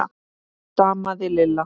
stamaði Lilla.